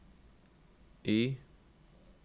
Y